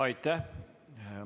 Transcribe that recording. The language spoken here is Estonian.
Aitäh!